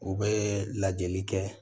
U bɛ lajɛli kɛ